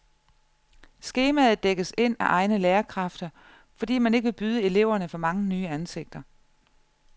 Skemaet dækkes ind af egne lærerkræfter, fordi man ikke vil byde eleverne for mange nye ansigter.